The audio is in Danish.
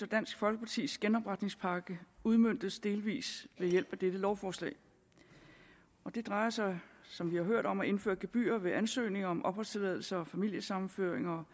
dansk folkepartis genopretningspakke udmøntes delvis ved hjælp af dette lovforslag og det drejer sig som vi har hørt om at indføre gebyrer ved ansøgninger om opholdstilladelser og familiesammenføringer